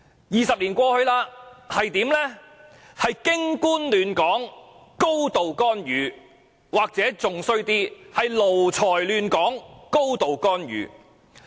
二十年後的今天，卻是"京官亂港"、"高度干預"，甚或更不堪的"奴才亂港"、"高度干預"。